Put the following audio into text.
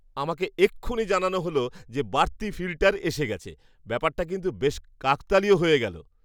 আমাকে এক্ষুনি জানানো হল যে বাড়তি ফিল্টার এসে গেছে। ব্যাপারটা কিন্তু বেশ কাকতালীয় হয়ে গেলো!